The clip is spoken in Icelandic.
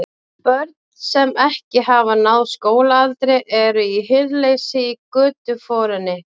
Börn, sem ekki hafa náð skólaaldri, eru í hirðuleysi í götuforinni.